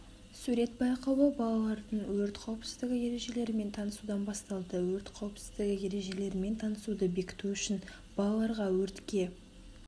сурет байқауы балалардың өрт қауіпсіздігі ережелерімен танысудан басталды өрт қауіпсіздігі ережелерімен танысуды бекіту үшін балаларға өртке